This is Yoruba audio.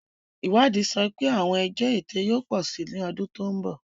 Ìwádìí sọ pé àwọn ẹjọ́ ẹ̀tẹ̀ yóò pọ̀ sí i lọ́dún tó ń bọ̀.